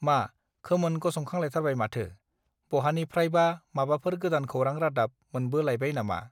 मा खामोन गसंखांलाइथारबाय माथो बहानिफ्रायबा माबाफोर गोदान खौरां रादाब मोनबो लाइबाय नामा